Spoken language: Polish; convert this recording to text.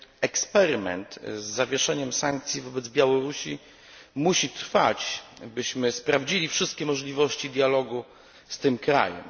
Eksperyment z zawieszeniem sankcji wobec Białorusi musi trwać, byśmy sprawdzili wszystkie możliwości dialogu z tym krajem.